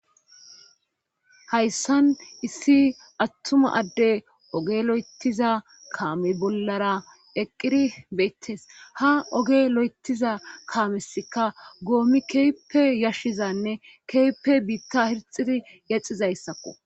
Hayssan issi attuma adde ogelo'etiza kaame bollara eqqiri beettes ha oge lo'etiza kaamesika goomi keeppe yashshizanne keeppe biitta hirxidi yexizayssakko